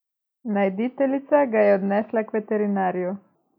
Najditeljica ga je odnesla k veterinarju.